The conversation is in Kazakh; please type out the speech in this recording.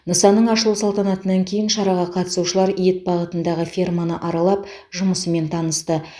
нысанның ашылу салтанатынан кейін шараға қатысушылар ет бағытындағы ферманы аралап жұмысымен танысты